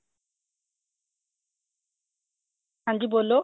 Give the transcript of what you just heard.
ਹਾਂਜੀ ਬੋਲੋ